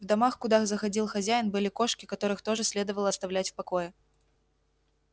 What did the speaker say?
в домах куда заходил хозяин были кошки которых тоже следовало оставлять в покое